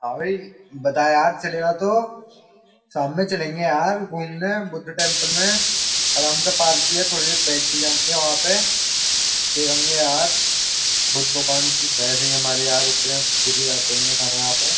हाँ भाई बता यार चलेगा तो शाम में चलेंगे यार घूमने बुद्ध टेम्पल में आराम से पार्क भी है थोड़े बहुत देर बैठ भी जायेंगे वहाँ पे देखेंगे यार बुद्ध भगवान् जी वैसे ही इतने पूजे जाते हैं हमारे यहाँ पे।